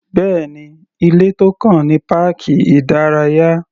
Bẹ́ẹ̀ni, ilé tó kàn ní páàkì ìdárayá.